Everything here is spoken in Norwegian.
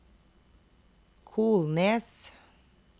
Kolnes